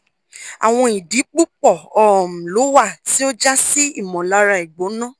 awọn idi pupọ um lo wa ti o ja si imolara igbona